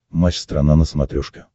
матч страна на смотрешке